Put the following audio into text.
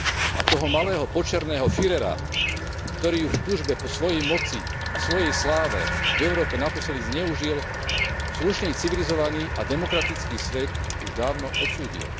A toho malého počerného Führera, ktorý ju v túžbe po svojej moci a svojej sláve v Európe naposledy zneužil, slušný, civilizovaný a demokratický svet už dávno odsúdil.